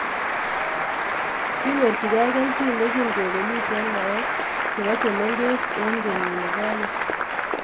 Kinyorchigei kelchin hegin kopelis en ngwaek chepo chemengeech en kenyit nigonye